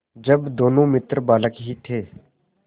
जब दोनों मित्र बालक ही थे